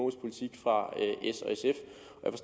fra s